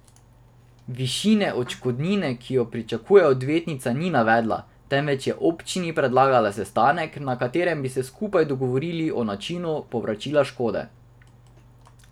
Višine odškodnine, ki jo pričakuje, odvetnica ni navedla, temveč je občini predlagala sestanek, na katerem bi se skupaj dogovorili o načinu povračila škode.